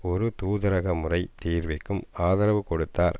ஒரு தூதரகமுறை தீர்விற்கும் ஆதரவு கொடுத்தார்